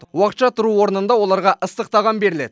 уақытша тұру орнында оларға ыстық тағам беріледі